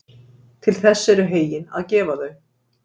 Til þess eru heyin að gefa þau.